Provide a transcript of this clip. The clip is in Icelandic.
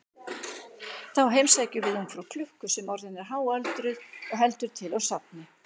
Þá heimsækjum við ungfrú klukku sem orðin er háöldruð og heldur til á safni.